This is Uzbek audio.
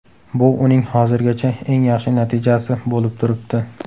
Bu uning hozirgacha eng yaxshi natijasi bo‘lib turibdi.